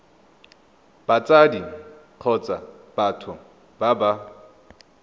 batsadi kgotsa batho ba ba